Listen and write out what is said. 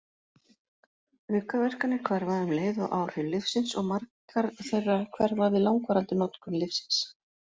Aukaverkanir hverfa um leið og áhrif lyfsins, og margar þeirra hverfa við langvarandi notkun lyfsins.